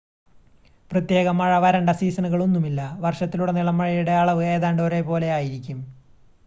"പ്രത്യേക "മഴ" "വരണ്ട" സീസണുകളൊന്നുമില്ല: വർഷത്തിലുടനീളം മഴയുടെ അളവ് ഏതാണ്ട് ഒരേപോലെ ആയിരിക്കും.